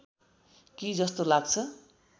कि जस्तो लाग्छ